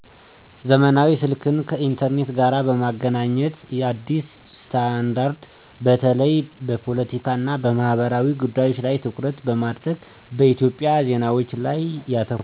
ዘመናዊ ስልክን ከ ኢንተርኔት ጋር በ ማገናኘት አዲስ ስታንዳርድ - በተለይ በፖለቲካ እና በማህበራዊ ጉዳዮች ላይ ትኩረት በማድረግ በኢትዮጵያ ዜናዎች ላይ ያተኩራል።